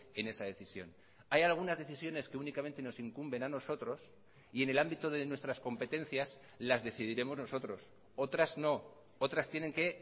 en esa decisión hay algunas decisiones que únicamente nos incumben a nosotros y en el ámbito de nuestras competencias las decidiremos nosotros otras no otras tienen que